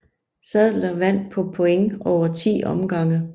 Saddler vandt på point over 10 omgange